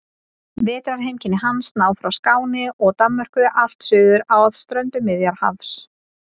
Vetrarheimkynni hans ná frá Skáni og Danmörku allt suður að ströndum Miðjarðarhafs.